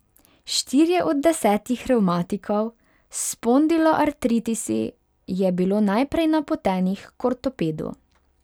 Štirje od desetih revmatikov s spondiloartritisi je bilo najprej napotenih k ortopedu.